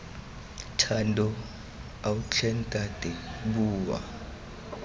thando ao tlhe ntate bua